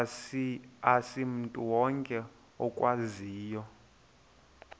asimntu wonke okwaziyo